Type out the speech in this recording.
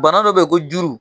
Bana dɔ bɛ yen ko juru